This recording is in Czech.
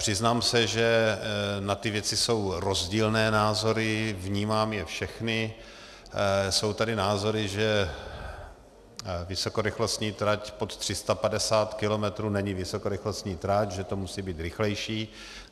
Přiznám se, že na ty věci jsou rozdílné názory, vnímám je všechny, jsou tady názory, že vysokorychlostní trať pod 350 km není vysokorychlostní trať, že to musí být rychlejší.